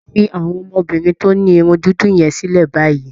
Fi àwọn obìnrin tó ní irun dúdú yẹn sílẹ̀ báyìí